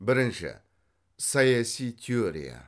бірінші саяси теория